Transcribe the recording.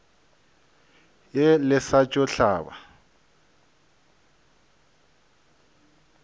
ye le sa tšo hlaba